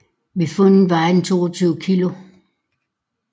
Ved fundet vejede den 22 kilo